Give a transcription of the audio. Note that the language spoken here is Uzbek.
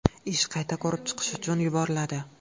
Ish qayta ko‘rib chiqish uchun yuboriladi.